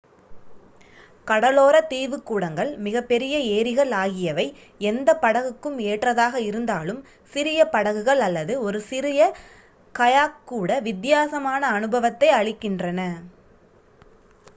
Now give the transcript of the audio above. கடலோர தீவுக்கூடங்கள் மிகப்பெரிய ஏரிகள் ஆகியவை எந்த படகுக்கும் ஏற்றதாக இருந்தாலும் சிறிய படகுகள் அல்லது ஒரு சிறு கயாக் கூட வித்தியாசமான அனுபவத்தை அளிக்கின்றன